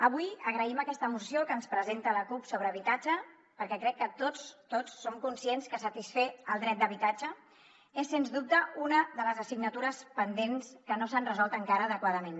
avui agraïm aquesta moció que ens presenta la cup sobre habitatge perquè crec que tots tots som conscients que satisfer el dret d’habitatge és sens dubte una de les assignatures pendents que no s’han resolt encara adequadament